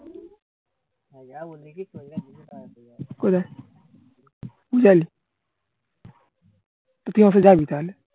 কোথায়? চল তুই যাবি তাহলে